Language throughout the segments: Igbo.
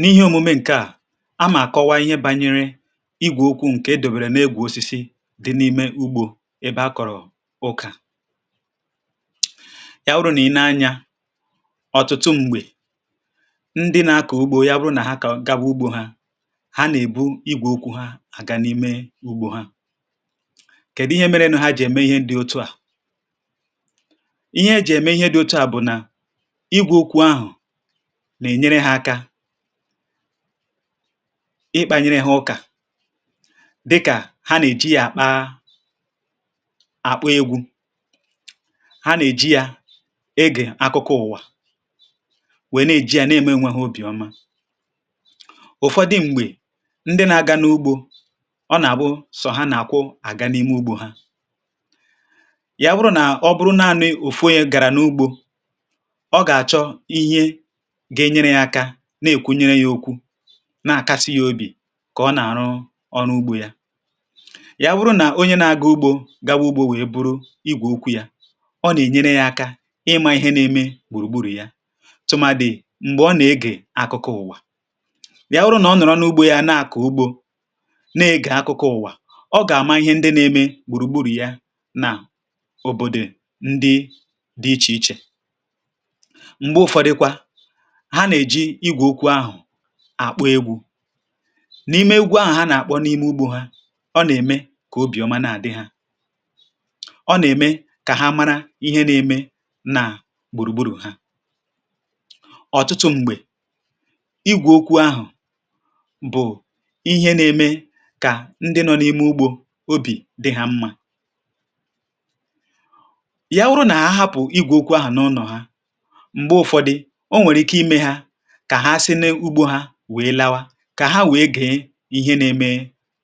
N’ihe òmume ǹkẹ̀ à, àmà-àkọwa ihe bànyere igwè okwu̇ ǹkè edòbèrè n’egwù osisi dị n’ime ugbȯ, ebe a kọ̀rọ̀ ụkà yà wụrụ. Nà ị nēe anyȧ, ọ̀tụtụ m̀gbè ndị nà-akọ̀ ugbȯ, ya bụrụ nà hà agà gà bụ̇ ugbȯ hà, hà nà-èbu igwè okwu̇ hà àga n’ime ugbȯ hà. Kèdụ ihe mere nù hà jì ème ihe ndị otu à? Ihe e jì ème ihe dị otu à bụ̀ nà nà-ènyere hà aka, ịkpȧnyere hà ụkà — dịkà hà nà-èji yȧ àkpa àkpụ̀ egwù. Hà nà-èji yȧ ịgị̀ akụkụ ụ̀wà, nwèe, nà-èji yȧ nà-ème. Enwēhị̇ obì ọma. Ụ̀fọdụ m̀gbè ndị nà-aga n’ugbȯ, ọ nà-àbụ sọ̀ hà nà-àkwụ̀ àga n’ime ugbȯ hà. Ya bụrụ nà ọ̀ bụrụ̀ naanụ̇ ụ̀fụ̀, ya gàrà n’ugbȯ; ọ gà-àchọ ihe gà-ènyere yà aka, um nà-èkwunyere yà okwu, nà-àkasi yà obì, kà ọ nà-àrụ ọrụ ugbȯ yà. Yà bùrù nà onye nà-agà ugbȯ, gaba ugbȯ, wèe buru igwè okwu̇ yà. Ọ nà-ènyere yà aka ịmȧ ihe nà-ème gbùrùgbùrù yà, tụmàdì m̀gbè ọ nà-egè àkụkụ ụ̀wà. Yà wụrụ nà ọ nọ̀rọ̀ n’ugbȯ yà, nà-àkụ ugbȯ, nà-egè akụkụ ụ̀wà. Ọ gà-àma ihe ndị nà-ème gbùrùgbùrù yà, nà ụbọ̀dị̀ ndị dị̇ ichè ichè. M̀gbè Ụ̀fọdịkwa àkpọ̀ egwù n’ime ugwu àhụ̀, hà nà-àkpọ̀ n’ime ugbȯ hà. Ọ nà-ème kà obìọma nà-àdị hà; ọ nà-ème kà hà mara ihe nà-ème nà gbùrùgbùrù̇ hà. Ọ̀tụtụ m̀gbè, igwù̇ okwu̇ àhụ̀ bụ̀ ihe nà-ème kà ndị nọ n’ime ugbȯ, obì dị hà mmȧ. um Yà wụrụ nà ahapụ̀ igwù̇ okwu̇ àhụ̀ n’ụnọ̀ hà, kà hà sinė ugbȯ hà, wèe lawa, kà hà wèe gèe ihe nà-ème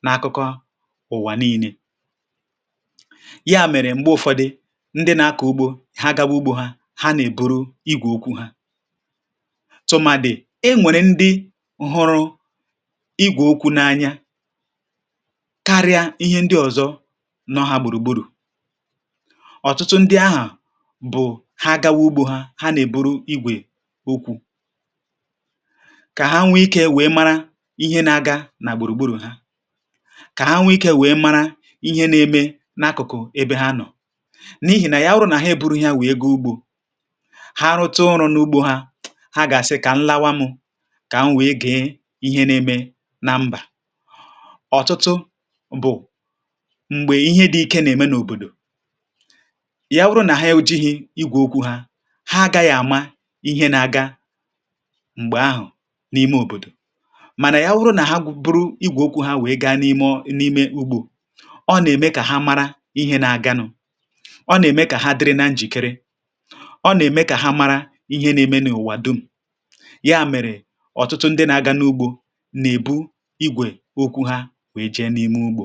n’àkụkọ ụ̀wà niine yà. Mèrè m̀gbè Ụ̀fọdị̀ ndị nà-akọ̀ ugbȯ hà, gaba ugbȯ hà, hà nèburu igwè okwu̇ hà. Tụmàdì, enwèrè ndị hụrụ igwè okwu̇ n’anya, karịa ihe ndị ọ̀zọ nọha gbùrùgbùrù. Ọ̀tụtụ ndị àhụ̀ bụ̀ hà gawa ugbȯ hà, hà nèburu igwè okwu̇, kà hà nwee ikė, nwẹ̀ẹ̀ mara ihe nà-àga nà gbùrùgbùrù̇ hà; kà hà nwee ikė, nwẹ̀ẹ̀ mara ihe nà-èmẹ n’àkụ̀kụ̀ ebe hà nọ̀.N’ihì nà yà wụrụ nà hà ebu̇ru̇ ihe hà, nwee gị ugbȯ hà, rụtụ̀ ọrụ̇ n’ugbȯ hà. Hà gà-àsị, kà nlawa mụ̇, kà hà nwee gị ihe nà-èmẹ nà mbà. um Ọ̀tụtụ bụ̀ m̀gbè ihe dị̇ ike nà-èmẹ n’òbòdò; yà wụrụ nà hà, ohihie, igwò okwu̇ hà, hà agȧ yà àma ihe nà-àga. M̀gbè àhụ̀ n’ime òbòdò, mànà yà wụrụ nà hà bụrụ igwè okwu̇, hà wèe gaa n’ime n’ime ugbȯ. Ọ nà-ème kà hà mara ihe nà-agȧnụ̇; ọ nà-ème kà hà dịrị na njìkere; ọ nà-ème kà hà mara ihe nà-ème n’ụ̀wà dum̀. Yà mèrè, ọ̀tụtụ ndị nà-agȧnụ̇ ugbȯ, nà-èbu igwè okwu̇ hà, wèe je n’ime ugbȯ.